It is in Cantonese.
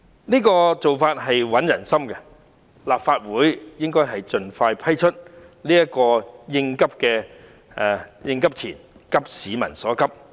這做法穩定人心，因此立法會應盡快批出這筆應急錢，以急市民所急。